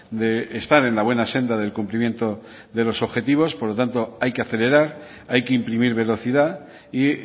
de estar en la buena senda del cumplimiento de los objetivos por lo tanto hay que acelerar hay que imprimir velocidad y